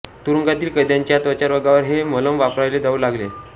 तुरुंगातील कैद्यांच्या त्वचारोगावर हे मलम वापरले जाऊ लागले